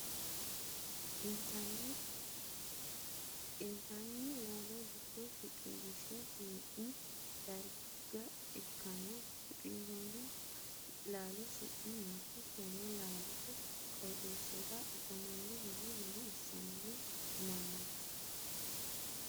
Intanni laallo dikko shiqinshe hee'nni darga ikanna shiqinshoonni laallo su'mi maati? Tenne laalote qooxeesira afamanno manni maa assanni no mannaati?